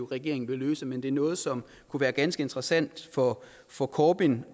regering vil løse men det er noget som kunne være ganske interessant for for corbyn